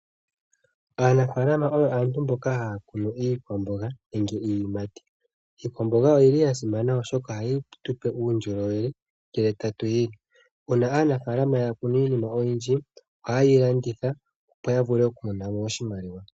Aanafalama oyo aantu mboka haya kunu iikwamboga nenge iiyimati. Iikwamboga oyili ya simana oshoka ohayi tupe uundjolowele ngele tatu yi li. Una aanafalama ya kunu iinima oyindji ohayeyi landitha, opo ya vule oku monamo oshimaliwa.